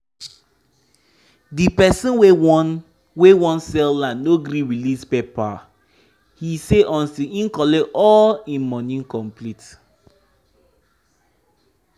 the person wey won wey won sell land no gree release paper he say until im collect all im money complete.